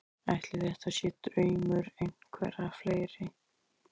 Ætli þetta sé draumur einhverra fleiri?